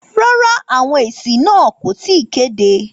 Rárá, àwọn èsì náà kò tí ì kéde.